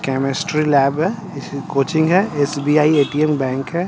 Chemistry lab है इस coaching है एस_बी_आई ऐ_टी_एम बैंक है।